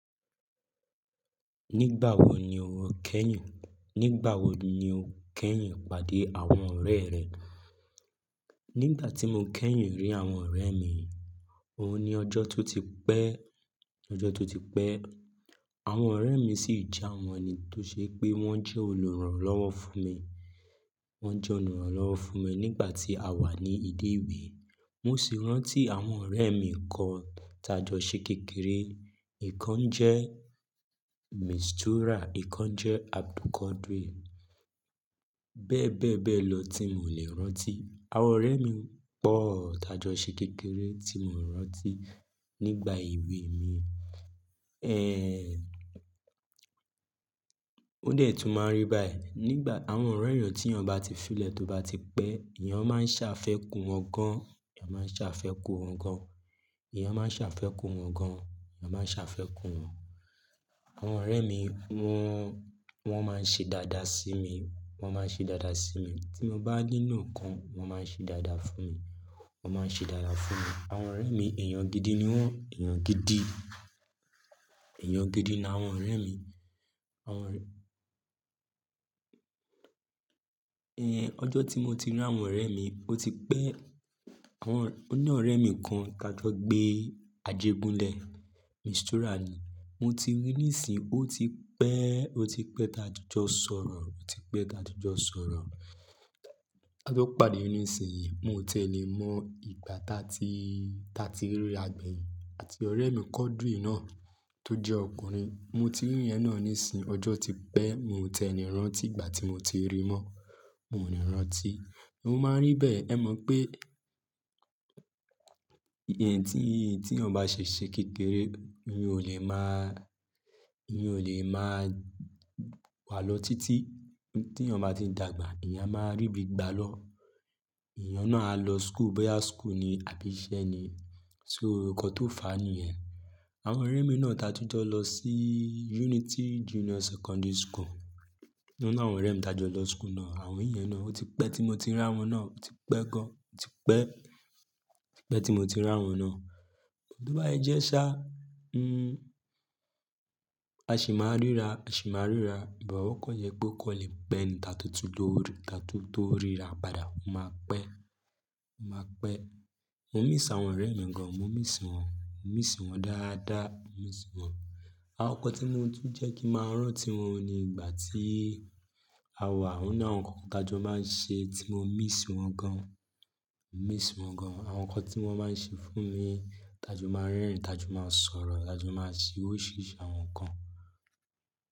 Nígbà wo ni o kẹ́yìn? Nígbà wo ni o kẹ́yìn pàdé àwọn ọ̀rẹ́ rẹ? Nígbà tí mo kẹ́yìn rí àwọn ọ̀rẹ́ mi, òun ni ọjọ́ tó ti pẹ́, ọjọ́ tó ti pẹ́. Àwọn ọ̀rẹ́ mi sì jẹ́ àwọn ẹni tó ṣe pé wọ́n jẹ́ olùrànlọ́wọ́ fún mi. Wọ́n jẹ́ olùrànlọ́wọ́ fún mi nígbà tí a wà ní ilé ìwé. Mo sì rántí àwọn ọ̀rẹ́ mi kan tájọ sé kékeré. Ìkan jẹ́ Mistura, ìkan jẹ́ Abdulquadri. Bẹ́ẹ̀ bẹ́ẹ̀ bẹ́ẹ̀ lọ tí mi ò lè rántí. Àwọn ọ̀rẹ́ mi pọ̀ tájọ sé kékeré tí mi ò rántí nígbà èwe mi. Ẹ́. Ó dẹ̀ tún máa rí báyìí. Nígbà àwọn ọ̀rẹ́ èyàn tí èèyàn bá ti fílẹ̀ tóbá ti pẹ́, èèyàn máa ṣàfẹ́ kù wọ́n gan. Ẹ̀yàn máa ṣàfẹ́ kù wọ́n gan. Ẹ̀yàn máa ṣàfẹ́ kù wọ́n gan. Ẹ̀yàn máa ṣàfẹ́ kù wọ́n. Àwọn ọ̀rẹ́ mi wọn, wọn máa ń ṣe dáadáa sí mi. Wọn máa ń ṣe dáadáa sí mi. Tí mo bá ní'lò ǹkan, wọn máa ń ṣe dáadáa fún mi. Wọn máa ń ṣe dáadáa fún mi. Àwọn ọ̀rẹ́ mi, èèyàn gidi ni wọ́n, èèyàn gidi. Èèyàn gidi ni àwọn ọ̀rẹ́ mi. Àwọn Ẹ̀ ọjọ́ tí mo ti rí àwọn ọ̀rẹ́ mi, ó ti pẹ́. Àwọn ọ̀rẹ́, oní ọ̀rẹ́ mi kan tá jọ gbé Ajegunlẹ̀, Mistura ni. Mo ti rí ní ìsìn, ó ti pẹ́, ó ti pẹ́ láti jọ sọ̀rọ̀, ó ti pẹ́ táti jọ sọ̀rọ̀. Tá jọ pàdé yín nísìnyí, mo ò tiẹ̀ lè mọ ìgbà táa ti, táa ti rí àgbẹ̀ yìí àti ọ̀rẹ́ mi Quadri náà tó jẹ́ ọkùnrin. Mo ti rí ìyẹn náà nísìnyí, ọjọ́ ti pẹ́, mi ò tiẹ̀ lè rántí ìgbà tí mo ti rí mọ́. Mo ò ní rántí. Mo máa ń rí bẹ́ẹ̀, ẹ mọ̀ pé, ẹ̀yin tí, tí èèyàn bá ṣe ṣe kékeré, èèyàn ò lè máa, èèyàn ò lè máa wà lọ títí. Tí èèyàn bá ti dàgbà, èèyàn máa rí bí i gbá lọ. Ẹ̀yàn náà á lọ school, báyìí school ni àbí iṣẹ́ ni. Ṣé o, nǹkan tó fàá nìyẹn. Àwọn ọ̀rẹ́ mi náà tájú jọ lọ sí Unity Junior Secondary School. Wọ́n ní àwọn ọ̀rẹ́ mi tájọ lọ school náà. Àwọn ìyẹn náà, ó ti pẹ́ tí mo ti rí àwọn náà, ó ti pẹ́ gan. Ó ti pẹ́, ó ti pẹ́ tí mo ti rí àwọn náà. Kí ló bá se jẹ́ sá, mm, a sì máa ríra, a sì máa ríra. Ìbáwọ̀kọ̀ yẹ kó kọ́ lè pẹ́ ni tátún ló rí, tátún tó ríra padà máa pẹ́. Ó ma pẹ́. Mo miss àwọn ọ̀rẹ́ mi gan. Mo miss wọ́n, mo miss wọ́n dáadáa, mo miss wọ́n. Àwọn nǹkan tí mo tú ń jẹ́ kí màá rántí wọn ni ìgbà tí a wà. Wọ́n náà àwọn nǹkan tájọ máa ń ṣe tí mo miss wọ́n gan. Mo miss wọ́n gan. Àwọn nǹkan tí wọ́n máa ń ṣe fún mi, tájọ máa ń rẹ́rìn, tájọ máa ń sọ̀rọ̀, tájọ máa ń ṣe oríṣiríṣi àwọn nǹkan.